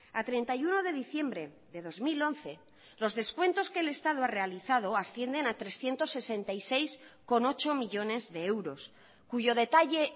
a treinta y uno de diciembre de dos mil once los descuentos que el estado ha realizado ascienden a trescientos sesenta y seis coma ocho millónes de euros cuyo detalle